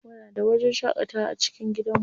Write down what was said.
Muna da wajen shaƙatawa a cikin gidanmu.